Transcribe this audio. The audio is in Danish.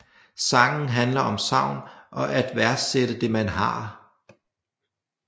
Sangen handler om savn og at værdsætte det man har